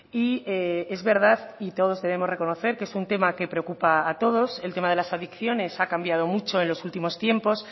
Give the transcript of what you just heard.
y es verdad y todos debemos de reconocer que es un tema que preocupa a todos el tema de las adicciones ha cambiado mucho en los últimos tiempos